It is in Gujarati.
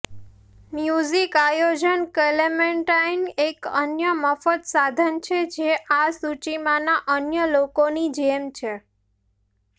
મ્યુઝિક આયોજક ક્લેમેન્ટાઇન એક અન્ય મફત સાધન છે જે આ સૂચિમાંના અન્ય લોકોની જેમ છે